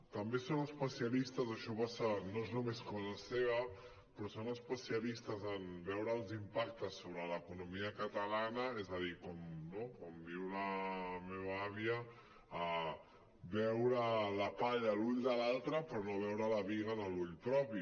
també són especialistes això no és només cosa seva però són especialistes en veure els impactes sobre l’economia catalana és a dir no com diu la meva àvia veure la palla a l’ull de l’altre però no veure la biga en l’ull propi